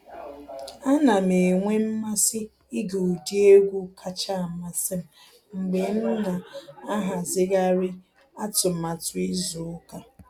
A na m enwe mmasị ịge ụdị egwu kacha amasị m mgbe m na ahazigharị atụmatụ izu ụka.